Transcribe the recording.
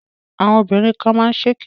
Àwọn obìnrin kan má ń ṣèké